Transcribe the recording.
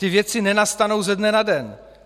Ty věci nenastanou ze dne na den.